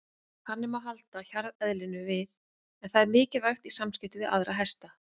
Þannig má halda hjarðeðlinu við en það er mikilvægt í samskiptum við aðra hesta.